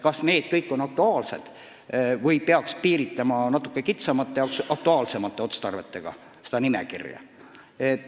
Kas need kõik on aktuaalsed või peaks seda nimekirja natuke kitsamate ja aktuaalsemate otstarvetega piirama?